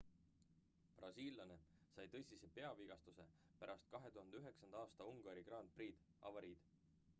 brasiillane sai tõsise peavigastuse pärast 2009 aasta ungari grand prix'i avariid